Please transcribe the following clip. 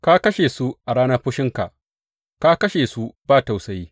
Ka kashe su a ranar fushinka; ka kashe su ba tausayi.